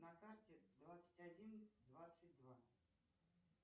на карте двадцать один двадцать два